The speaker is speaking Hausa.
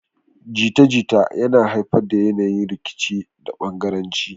Jita-jita na haifar da yanayi na rikici da bangaranci.